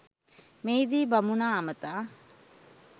මෙහිදී බමුණා අමතා